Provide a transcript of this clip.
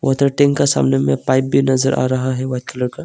Water tank का सामने में पाइप भी नजर आ रहा है व्हाइट कलर का।